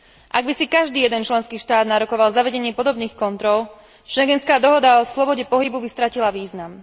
Ak by si každý jeden štát nárokoval zavedenie podobných kontrol, schengenská dohoda o slobode pohybu by stratila význam.